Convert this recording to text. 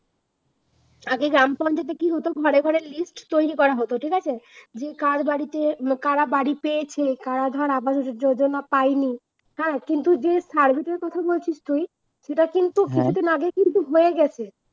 আগে গ্রাম পঞ্চায়েতে কি হতো, ঘরে ঘরে list তৈরী করা হতো ঠিক আছে, যে কার বাড়িতে করা বাড়ি পেয়েছে, করা ধর আবাস যোজনা পায়নি, হ্যাঁ কিন্তু যে survey টার কথা বলছিস তুই সেটা কিন্তু কিছুদিন আগে কিন্তু হয়ে গেছে